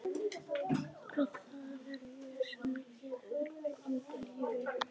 Að það er ég sem lifi engu lífi.